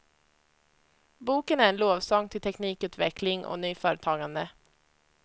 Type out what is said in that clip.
Boken är en lovsång till teknikutveckling och nyföretagande.